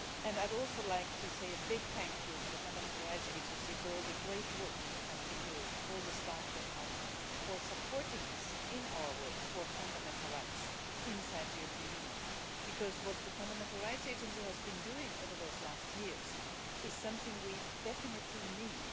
I would also like to say a big thank you to the Fundamental Rights Agency for all the great work it has been doing, all the staff there, for supporting us in our work for fundamental rights inside the European Union. What the Fundamental Rights Agency has been doing over these last years is something we definitely need.